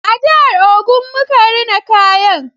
A jihar Ogun muka rina kayan